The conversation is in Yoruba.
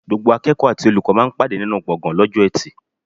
Gbogbo akẹ́kọ̀ọ́ àti olùkọ́ máa ń pàdé nínú gbọ̀ngan lọ́jọ́ eti.